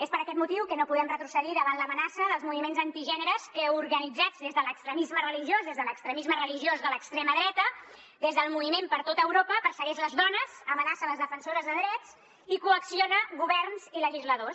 és per aquest motiu que no podem retrocedir davant l’amenaça dels moviments antigènere que organitzats des de l’extremisme religiós des de l’extremisme religiós de l’extrema dreta des del moviment per tota europa persegueixen les dones amenacen les defensores de drets i coaccionen governs i legisladors